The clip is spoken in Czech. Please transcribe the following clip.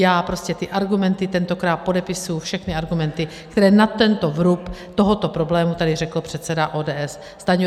Já prostě ty argumenty, tentokrát podepisuji všechny argumenty, které na tento vrub tohoto problému tady řekl předseda ODS Stanjura.